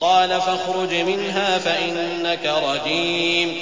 قَالَ فَاخْرُجْ مِنْهَا فَإِنَّكَ رَجِيمٌ